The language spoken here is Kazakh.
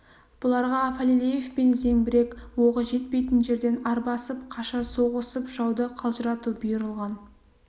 бұларға фалилеевпен зеңбірек оғы жетпейтін жерден арбасып қаша соғысып жауды қалжырату бұйырылған